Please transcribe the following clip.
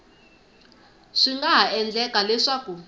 swi nga ha endleka leswaku